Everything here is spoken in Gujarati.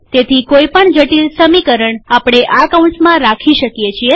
તેથી કોઈ પણ જટિલ સમીકરણ આપણે આ કૌંસમાં રાખી શકીએ છીએ